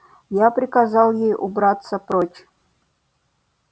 я приказал ей убраться прочь